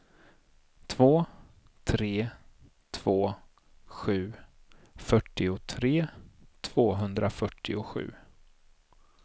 två tre två sju fyrtiotre tvåhundrafyrtiosju